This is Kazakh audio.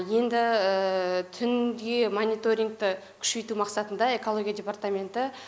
енді түнде мониторингті күшейту мақсатында экология департаменті